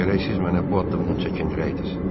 Lakin gərək siz mənə bu addımdan çəkindirəydiniz.